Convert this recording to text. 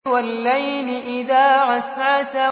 وَاللَّيْلِ إِذَا عَسْعَسَ